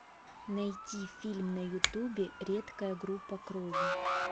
найди фильм на ютубе редкая группа крови